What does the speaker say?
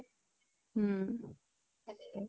উম । তাকে ।